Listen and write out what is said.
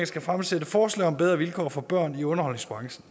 skal fremsætte forslag om bedre vilkår for børn i underholdningsbranchen